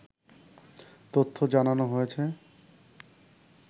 তথ্য জানানো হয়েছে